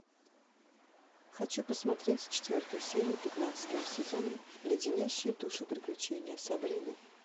хочу посмотреть четвертую серию пятнадцатого сезона леденящие душу приключения сабрины